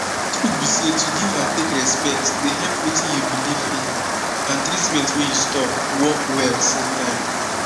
truth be say to give and take respect dey help wetin u belief in and treatment wey you stop work well same time